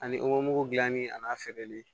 Ani gilanni ani feereli